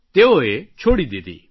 તેઓએ શેરડી છોડી દીધી